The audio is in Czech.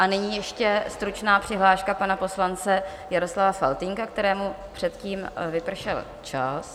A nyní ještě stručná přihláška pana poslance Jaroslava Faltýnka, kterému předtím vypršel čas.